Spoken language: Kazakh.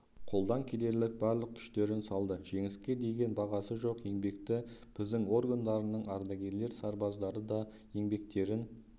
қолдан келерлік барлық күштерін салды жеңіске деген бағасы жоқ еңбекті біздің органдарының ардагерлер-сарбаздары да еңбектерін